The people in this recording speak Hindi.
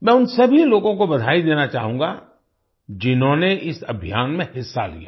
मैं उन सभी लोगों को बधाई देना चाहूंगा जिन्होंने इस अभियान में हिस्सा लिया